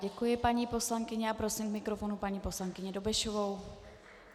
Děkuji paní poslankyni a prosím k mikrofonu paní poslankyni Dobešovou.